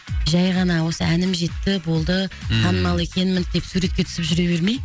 жай ғана осы әнім жетті болды танымал екенмін деп суретке түсіп жүре бермей